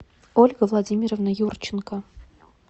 ольга владимировна юрченко